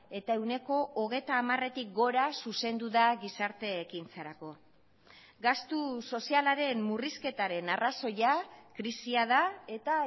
eta ehuneko hogeita hamaretik gora zuzendu da gizarte ekintzarako gastu sozialaren murrizketaren arrazoia krisia da eta